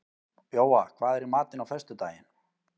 Jóa, hvað er í matinn á föstudaginn?